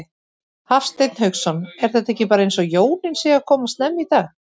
Hafsteinn Hauksson: Er þetta ekki bara eins og jólin séu að koma snemma í dag?